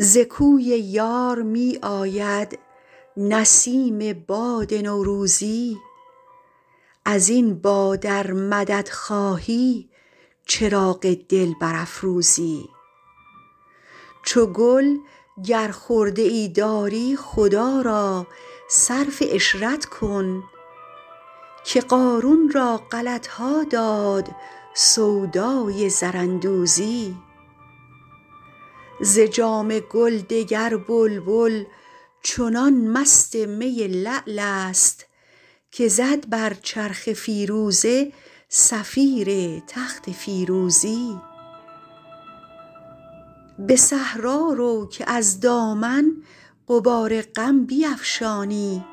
ز کوی یار می آید نسیم باد نوروزی از این باد ار مدد خواهی چراغ دل برافروزی چو گل گر خرده ای داری خدا را صرف عشرت کن که قارون را غلط ها داد سودای زراندوزی ز جام گل دگر بلبل چنان مست می لعل است که زد بر چرخ فیروزه صفیر تخت فیروزی به صحرا رو که از دامن غبار غم بیفشانی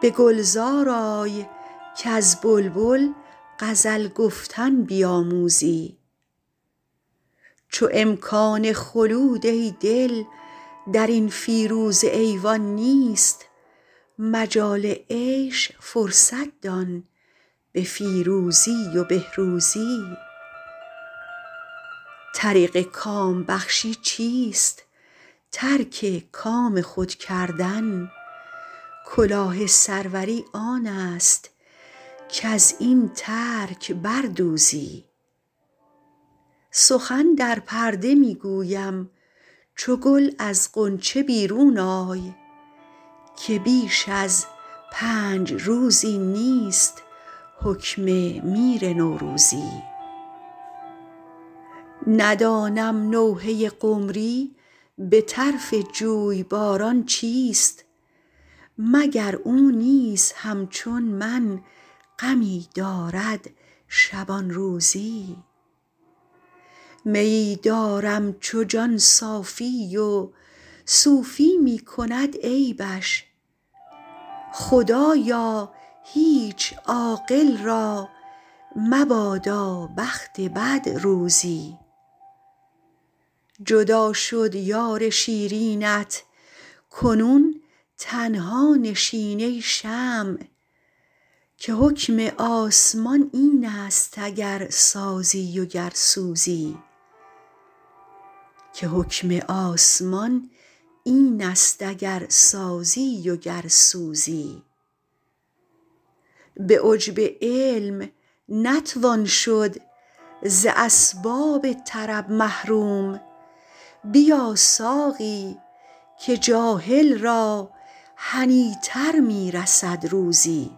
به گلزار آی کز بلبل غزل گفتن بیاموزی چو امکان خلود ای دل در این فیروزه ایوان نیست مجال عیش فرصت دان به فیروزی و بهروزی طریق کام بخشی چیست ترک کام خود کردن کلاه سروری آن است کز این ترک بر دوزی سخن در پرده می گویم چو گل از غنچه بیرون آی که بیش از پنج روزی نیست حکم میر نوروزی ندانم نوحه قمری به طرف جویباران چیست مگر او نیز همچون من غمی دارد شبان روزی میی دارم چو جان صافی و صوفی می کند عیبش خدایا هیچ عاقل را مبادا بخت بد روزی جدا شد یار شیرینت کنون تنها نشین ای شمع که حکم آسمان این است اگر سازی و گر سوزی به عجب علم نتوان شد ز اسباب طرب محروم بیا ساقی که جاهل را هنی تر می رسد روزی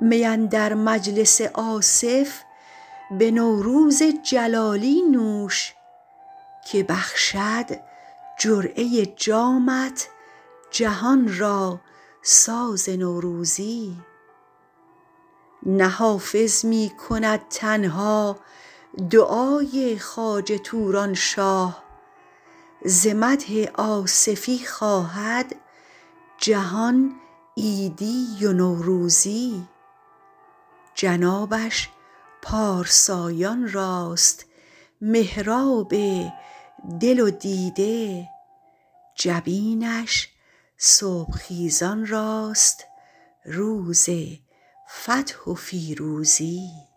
می اندر مجلس آصف به نوروز جلالی نوش که بخشد جرعه جامت جهان را ساز نوروزی نه حافظ می کند تنها دعای خواجه توران شاه ز مدح آصفی خواهد جهان عیدی و نوروزی جنابش پارسایان راست محراب دل و دیده جبینش صبح خیزان راست روز فتح و فیروزی